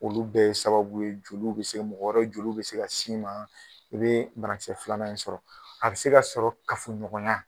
Olu bɛɛ ye sababu ye jeliw be se mɔgɔ wɛrɛ jeliw bɛ se ka s'i ma, i bee bana kisɛ filanan in sɔrɔ. A bɛ se ka sɔrɔ kafoɲɔgɔnya